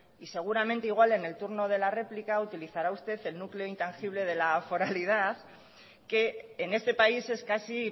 y seguramente igual en el turno de la réplica utilizará usted el núcleo intangible de la foralidad que en este país es casi